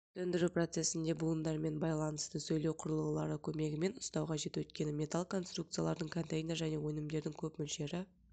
сөндіру процесінде буындарымен байланысты сөйлеу құрылғылары көмегімен ұстау қажет өйткені металл конструкциялардың контейнер және өнімдердің көп мөлшері